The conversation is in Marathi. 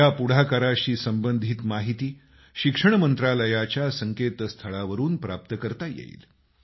या पुढाकाराशी संबंधित माहिती शिक्षण मंत्रालयाच्या संकेतस्थळावरून प्राप्त करता येईल